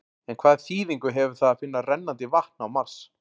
En hvaða þýðingu hefur það að finna rennandi vatn á Mars?